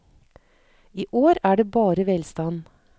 I år er det bare velstand.